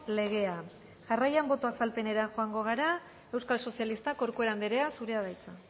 legea jarraian boto azalpenera joango gara euskal sozialistak corcuera andrea zurea da hitza